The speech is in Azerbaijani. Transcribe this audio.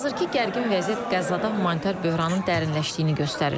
Hazırki gərgin vəziyyət Qəzzada humanitar böhranın dərinləşdiyini göstərir.